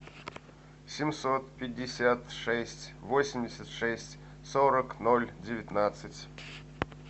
семьсот пятьдесят шесть восемьдесят шесть сорок ноль девятнадцать